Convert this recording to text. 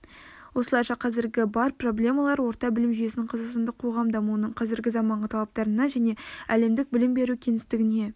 осылайша қазіргі бар проблемалар орта білім жүйесін қазақстандық қоғам дамуының қазіргі заманғы талаптарына және әлемдік білім беру кеңістігіне